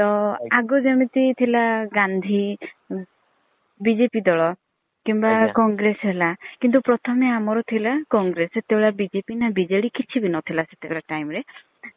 ତ ଆଗରୁ ଯେମିତି ଥିଲା ଗାନ୍ଧୀ BJP ଦଳ କିମ୍ବା congress ହେଲା କିନ୍ତୁ ପ୍ରଥମେ ଆମର ଥିଲା congress ସେତବେଳେ BJP ନା BJD କିଛି ବି ନଥିଲା ସେତବେଳେ time ରେ